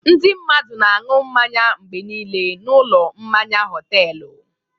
Ndị mmadụ na-aṅụ mmanya mgbe niile n'ụlọ mmanya họtelụ.